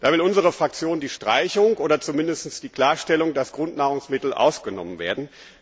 Da will unsere Fraktion die Streichung oder zumindest die Klarstellung, dass Grundnahrungsmittel ausgenommen werden.